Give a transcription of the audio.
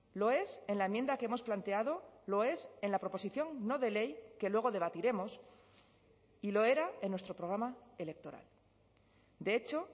lo es en la enmienda que hemos planteado lo es en la proposición no de ley que luego debatiremos y lo era en nuestro programa electoral de hecho